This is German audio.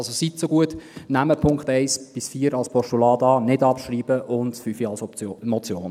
Also: Bitte nehmen Sie die Punkte 1 bis 4 als Postulat an – nicht abschreiben –, und den Punkt 5 als Motion.